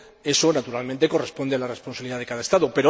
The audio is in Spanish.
Eso, naturalmente, corresponde a la responsabilidad de cada Estado.